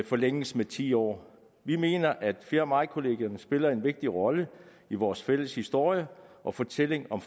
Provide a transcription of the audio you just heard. forlænges med ti år vi mener at fjerde maj kollegierne spiller en vigtig rolle i vores fælles historie og fortælling om